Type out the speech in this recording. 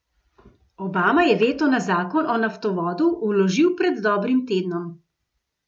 Obama je veto na zakon o naftovodu vložil pred dobrim tednom.